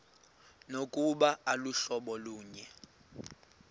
nokuba aluhlobo lunye